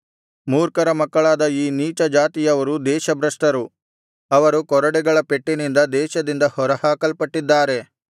ಮೂರ್ಖರ ಮಕ್ಕಳಾದ ಈ ನೀಚ ಜಾತಿಯವರು ದೇಶಭ್ರಷ್ಟರು ಅವರು ಕೊರಡೆಗಳ ಪೆಟ್ಟಿನಿಂದ ದೇಶದಿಂದ ಹೊರಹಾಕಲ್ಪಟ್ಟಿದ್ದರೆ